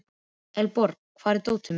Elenborg, hvar er dótið mitt?